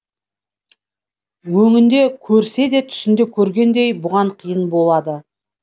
өңінде көрсе де түсінде көргендей бұған қиын болады